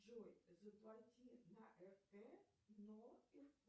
джой заплати на рт но